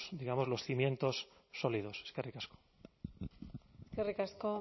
digamos los cimientos sólidos eskerrik asko eskerrik asko